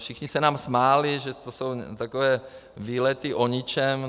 Všichni se nám smáli, že to jsou takové výlety o ničem.